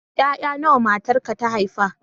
Ƴaƴa nawa matarka ta haifa?